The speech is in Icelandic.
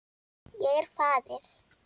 Ég er faðir.